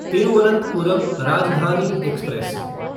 Thiruvananthapuram Rajdhani express